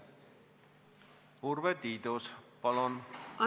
Urve Tiidus, palun!